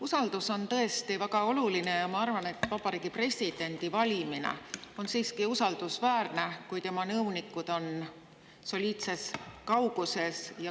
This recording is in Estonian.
Usaldus on tõesti väga oluline ja ma arvan, et see, vabariigi president valib, on siiski usaldusväärne, kui tema nõunikud on soliidses kauguses.